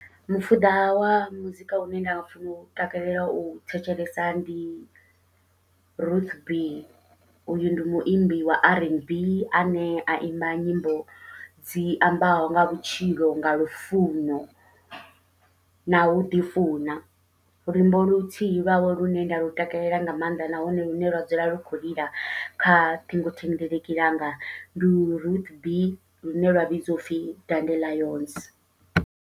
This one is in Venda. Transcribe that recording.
Mufuda wa muzika une nda funa u takalela u thetshelesa ndi Ruth B, uyu ndi muimbi wa r n b ane a imba nyimbo dzi ambaho nga vhutshilo nga lufuno na uḓi funa, luimbo luthihi lwawe lune nda lu takalela nga maanḓa nahone lune lwa dzula lu khou lila kha ṱhingothendeleki langa, ndi Ruth B lune lwa vhidziwa upfhi dandelions.